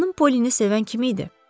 Xanım Pollini sevən kim idi?